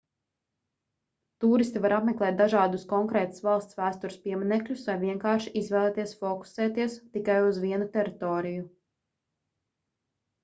tūristi var apmeklēt dažādus konkrētās valsts vēstures pieminekļus vai vienkārši izvēlēties fokusēties tikai uz vienu teritoriju